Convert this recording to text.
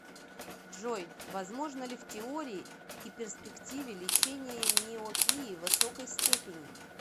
джой возможно ли в теории и перспективе лечение миопии высокой степени